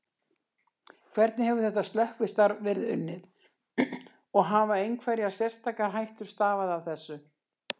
Hvernig hefur þetta slökkvistarf verið unnið og hafa einhverjar sérstakar hættur stafað af þessu?